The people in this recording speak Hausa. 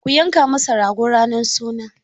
Ku yanka masa rago ranar suna!